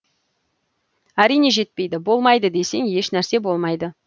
әрине жетпейді болмайды десең еш нәрсе болмайды